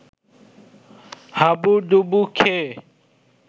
হাবুডুবু খেয়ে